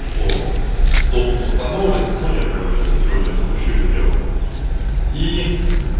что доступ установлен но я короче сегодня запущу это дело и